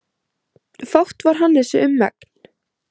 Fátt var Hannesi um megn.